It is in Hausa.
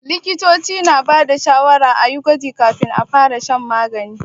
Likitoci na ba da shawarar a yi gwaji kafin a fara shan magani.